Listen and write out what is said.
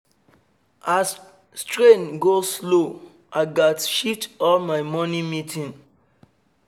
as train go-slow i gats shift all my morning meeting